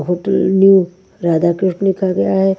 Hotel new Radha Krishna लिखा गया है।